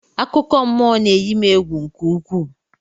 Akụkọmmụọ na-eyi m egwu nke ukwuu